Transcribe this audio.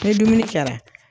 Ni dumuni kɛra.